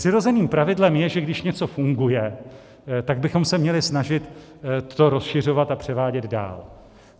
Přirozeným pravidlem je, že když něco funguje, tak bychom se měli snažit to rozšiřovat a převádět dál.